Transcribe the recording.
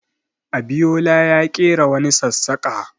Abiyola ya ƙera wani sassaƙa.